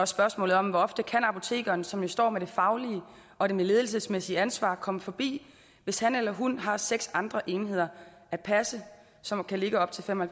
spørgsmålet om hvor ofte apotekeren som jo står med det faglige og det ledelsesmæssige ansvar komme forbi hvis han eller hun har seks andre enheder at passe som kan ligge op til fem og